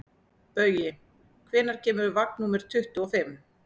Baui, hvenær kemur vagn númer tuttugu og fimm?